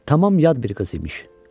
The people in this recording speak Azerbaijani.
Tamam yad bir qız imiş.